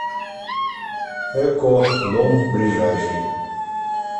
эко дом ближайший